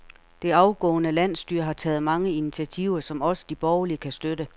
Det afgående landsstyre har taget mange initiativer, som også de borgerlige kan støtte.